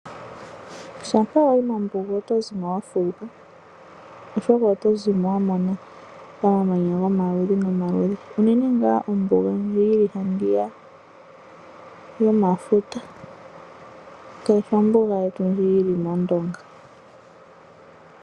Shampa wayi mombuga oto zimo wa fuuka, oshoka oto zimo wa mona omamanya gomaludhi nomaludhi, unene nga ombuga ndji yili handiya yomafuta, kayishi ombuga yetu ndji yili mOndonga.